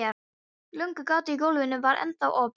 Lúgu gatið í gólfinu var ennþá opið.